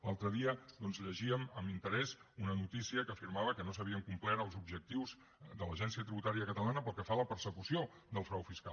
l’altre dia doncs llegíem amb interès una notícia que afirmava que no s’havien complert els objectius de l’agència tributària catalana pel que fa a la persecució del frau fiscal